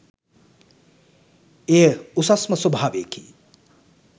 එය උසස්ම ස්වභාවයකි.